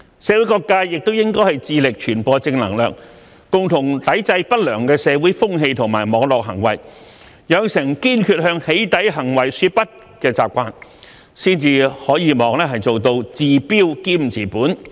社會各界也應致力傳播正能量，共同抵制不良的社會風氣和網絡行為，養成堅決向"起底"行為說不的習慣，才可望做到治標兼治本。